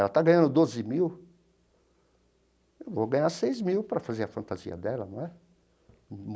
Ela está ganhando doze mil, eu vou ganhar seis mil para fazer a fantasia dela, não é?